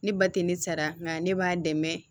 Ne ba tɛ ne sara nka ne b'a dɛmɛ